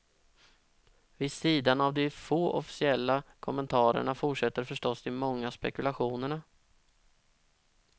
Vid sidan av de få officiella kommentarerna fortsätter förstås de många spekulationerna.